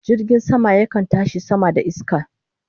Jirgin sama yakan tashi sama da iska